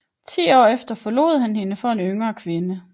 Ti år efter forlod han hende for en yngre kvinde